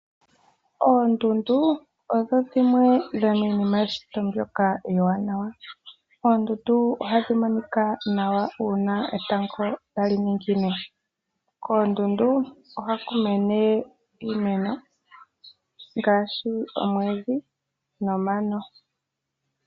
Oondundu odho dhimwe dho miinima yeshito mbyoka ewanawa. Oondundu ohadhi monika nawa uuna etango tali ningine. Koondundu ohaku mene iimeno ngaashi omwiidhi nomano.